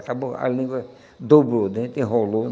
Acabou, a língua dobrou o dente, enrolou.